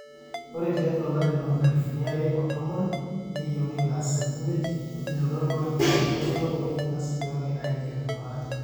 ore tiatwa olari loonkalifuni are otomon neyieuni ilaasak imiet neitodolu ajo etonyuaa oleng ina sipitali aiger iltung'anak